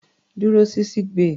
Dúró sí sick bay.